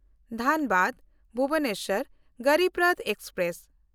Dhanbad-Bhubaneswar Garib Rath express